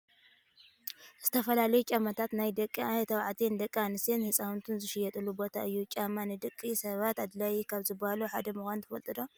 ዝተፈላለዩ ጫማታት ናይ ደቂ ተባዕትዮን ደቂ ኣንስትዮን ህፃውንትን ዝሽየጠሉ ቦታ እዩ። ጫማ ንደቂ ሰባት ኣድላይ ካብ ዝባሃሉ ሓደ ምኳኑ ትፈልጡ ዶ?